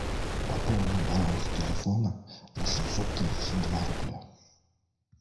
пополнить баланс телефона на семьсот тридцать два рубля